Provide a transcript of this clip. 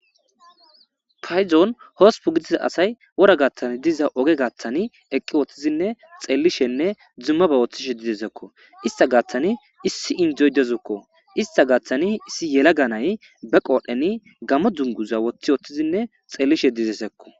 Payzon hospu gidiza asay wora gaaththan diza oge gaaththani eqqi woththizinne xellishenne dzumma ba wooththishe didesekko ista gaaththani issi indzoydezukko ista gaaththani issi yela ganay be qoodheni gammo dunguza woththi woththizinne xellishe dizesekko.